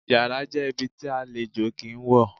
Yàrá jẹ́ ibi tí àlejò kì í wọ̀.